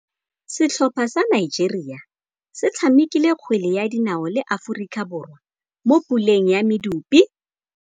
Setlhopha sa Nigeria se tshamekile kgwele ya dinaô le Aforika Borwa mo puleng ya medupe.